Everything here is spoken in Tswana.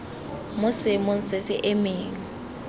mo seemong se se emeng